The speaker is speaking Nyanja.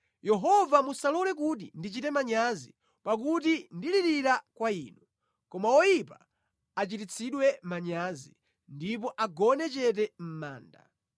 Yehova musalole kuti ndichite manyazi, pakuti ndalirira kwa Inu; koma oyipa achititsidwe manyazi ndipo agone chete mʼmanda.